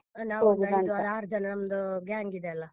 ಒಂದು ಐದು ಆರು ಜನ ನಮ್ದು gang ಇದೆ ಅಲ್ಲ?